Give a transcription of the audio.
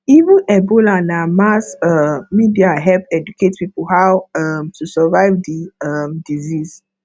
even ebola na mass um media help educate people how um to survive the um disease